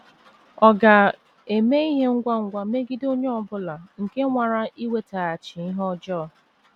Ọ ga - eme ihe ngwa ngwa megide onye ọ bụla nke nwara iwetaghachi ihe ọjọọ.